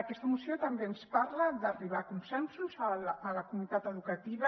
aquesta moció també ens parla d’arribar a consensos a la comunitat educativa